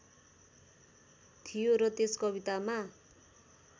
थियो र त्यस कवितामा